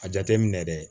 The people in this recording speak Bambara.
A jateminɛ dɛ